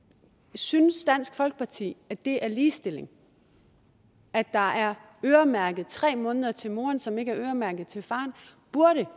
synes dansk folkeparti at det er ligestilling at der er øremærket tre måneder til moren som ikke er øremærket til faren